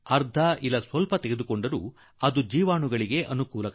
ಅರ್ಧಂಬರ್ಧ ಮಾಡಿ ಬಿಟ್ಟರೆ ಅದರಿಂದ ಜೀವಾಣುವಿಗೆ ಲಾಭ